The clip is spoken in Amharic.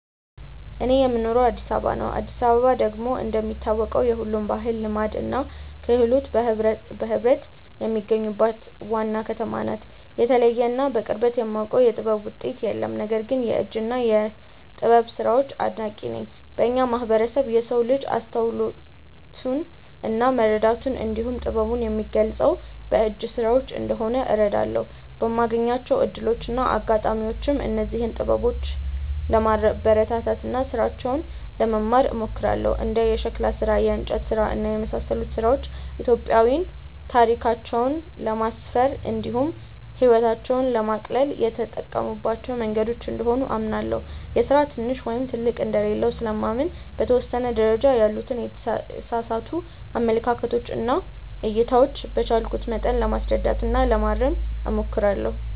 እኔ የምኖረው አዲስ አበባ ነው። አዲስ አበባ ደግሞ እንደሚታወቀው የሁሉም ባህል፣ ልማድ እና ክህሎት በህብረት የሚገኙባት ዋና ከተማ ናት። የተለየ እና በቅርበት የማውቀው የጥበብ ውጤት የለም። ነገር ግን የእጅ እና የጥበብ ስራዎች አድናቂ ነኝ። በእኛ ማህበረሰብ የሰው ልጅ አስተውሎቱን እና መረዳቱን እንዲሁም ጥበቡን የሚገልፀው በእጅ ስራዎች እንደሆነ እረዳለሁ። በማገኛቸው እድሎች እና አጋጣሚዎችም እነዚህን ጥበበኞች ለማበረታታት እና ስራቸውን ለመማር እሞክራለሁ። እንደ የሸክላ ስራ፣ የእንጨት ስራ እና የመሳሰሉት ስራዎች ኢትዮጵያዊያን ታሪካቸውን ለማስፈር እንዲሁም ህይወታቸውን ለማቅለል የተጠቀሙባቸው መንገዶች እንደሆኑ አምናለሁ። የስራ ትንሽ ወይም ትልቅ እንደሌለው ስለማምን በተወሰነ ደረጃ ያሉትን የተሳሳቱ አመለካከቶች እና እይታዎች በቻልኩት መጠን ለማስረዳት እና ለማረም እሞክራለሁ።